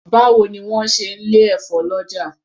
Báwo ni wọ́n ń ṣe lè efo lọ́jà.